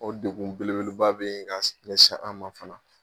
O degun beleba be gan ɲɛsi an ma fana